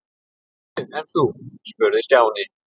Níu, en þú? spurði Stjáni.